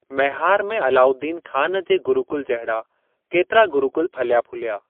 मैहार में अलाउद्दीन खान जे गुरुकुल जहिड़ा केतिरा गुरुकुल फलिया-फूलिया।